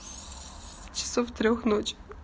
часов трёх ночи